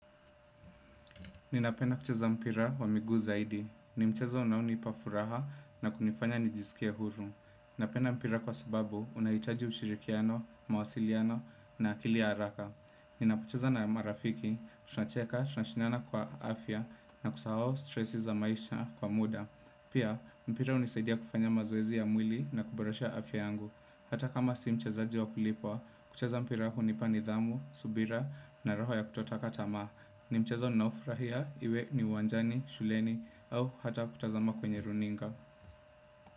Ninapenda kucheza mpira wa miguu zaidi. Ni mchezo unaonipa furaha na kunifanya nijiskie huru. Ninapenda mpira kwa sababu unahitaji ushirikiano, mawasiliano na akili ya haraka. Ninapocheza na marafiki, tunacheka, tunashindana kwa afya na kusahau stressi za maisha kwa muda. Pia, mpira hunisaidia kufanya mazoezi ya mwili na kuboresha afya yangu. Hata kama si mchezaji wa kulipwa, kucheza mpira hunipa nidhamu, subira na roho ya kutokata tamaa. Ni mchezo ninaofurahia, iwe ni uwanjani, shuleni au hata kutazama kwenye runinga.